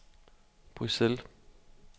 Bruxelles